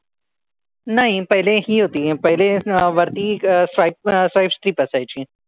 नाही. पहिले हि होती. पहिले एक वरती swipe swipe strip असायची.